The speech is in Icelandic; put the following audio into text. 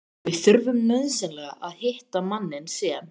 VIÐ ÞURFUM NAUÐSYNLEGA AÐ HITTA MANNINN SEM